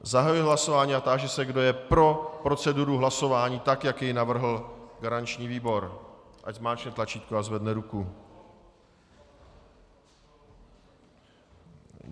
Zahajuji hlasování a táži se, kdo je pro proceduru hlasování tak, jak ji navrhl garanční výbor, ať zmáčkne tlačítko a zvedne ruku.